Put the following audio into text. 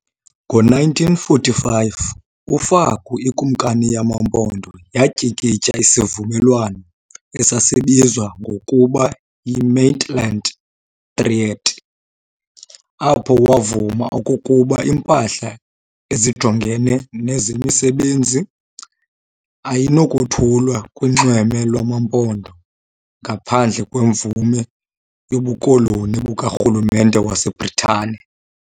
Ngo-1945 uFaku, ikumkani yamaMpondo, yatyikitya isivumelwano esasibizwa ngokuba yi-"Maitland Treaty" apho wavuma okokuba impahla ejongene nezemisebenzi ayinakothulwa kunxweme lwamaMpondo ngaphandle kwemvume yobukoloni bukaRhulumente waseBritane.